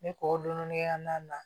Ne kɔ dɔɔnin-kɛnɛnnan na